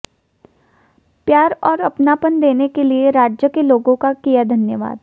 प्यार और अपनापन देने के लिए राज्य के लोगों का किया धन्यवाद